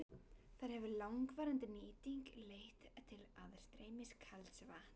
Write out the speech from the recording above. Þar hefur langvarandi nýting leitt til aðstreymis kalds vatns.